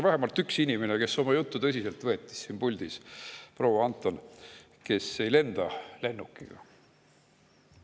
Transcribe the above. Vähemalt üks inimene, kes oma juttu tõsiselt võttis siin puldis, oli proua Anton, kes ei lenda lennukiga.